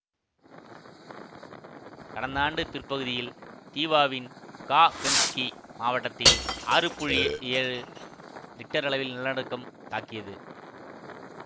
கடந்த ஆண்டு பிற்பகுதியில் தீவாவின் காகெம்ஸ்க்கி மாவட்டத்தில் ஆறு புள்ளி ஏழு ரிக்டர் அளவில் நிலநடுக்கம் தாக்கியது